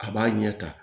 A b'a ɲɛ ta